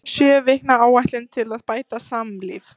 SJÖ VIKNA ÁÆTLUN TIL AÐ BÆTA SAMLÍF